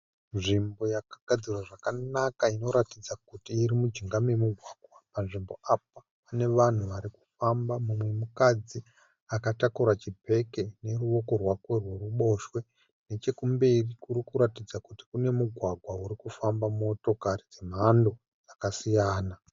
Nzvimbo yakagadzirwa zvakanaka inoratidza kuti iri mujinga memugwagwa. Panzvimbo apa pane vanhu vari kufamba. Mumwe mukadzi akatakura chibheke neruoko rwake rworuboshe. Nechokumberi kuri kuratidza kuti kune mugwagwa uri kufamba motokari dzemhando yakasiyana.